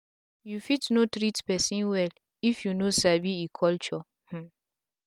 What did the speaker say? u fit no treat pesin wel if u no sabi e culture um